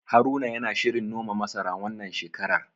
Haruna yana shirin noma masara, wannan shekarar.